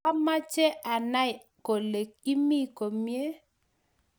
Ka meche anai kole imii komie